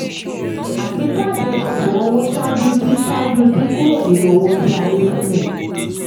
àgbéjáde: àṣùwọ̀n owó ṣáájú dín ṣáájú dín kúrò nínú owó tí a ní sílẹ̀.